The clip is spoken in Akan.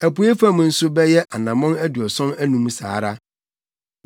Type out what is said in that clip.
Apuei fam nso bɛyɛ anammɔn aduɔson anum saa ara.